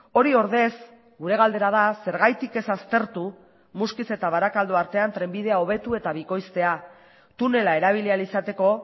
hori ordez gure galdera da zergatik ez aztertu muskiz eta barakaldo artean trenbidea hobetu eta bikoiztea tunela erabili ahal izateko